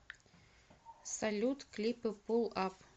салют клипы пул ап